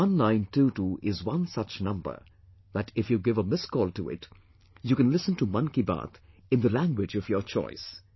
This 1922 is one such number that if you give a missed call to it, you can listen to Mann Ki Baat in the language of your choice